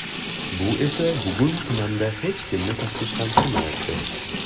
Bu esa bugun tumanda hech kimni tashvishlantirmayapti.